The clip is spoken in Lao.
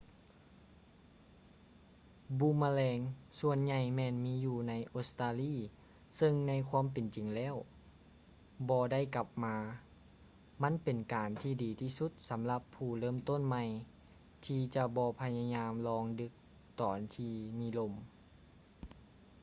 ບູມມະແລງສ່ວນໃຫ່ຍແມ່ນມີຢູ່ໃນອົດສະຕາລີເຊິ່ງໃນຄວາມເປັນຈິງແລ້ວບໍ່ໄດ້ກັບມາ ມັນເປັນການທີ່ດີທີ່ສຸດສຳລັບຜູ້ເລີ່ມຕົ້ນໃໝ່ທີ່ຈະບໍ່ພະຍາຍາມລອງດຶກຕອນທີ່ມີລົມ